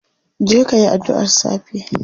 Je kayi adduar safe.